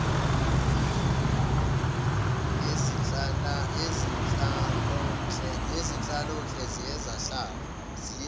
yezenhlalonhle ziye zahlala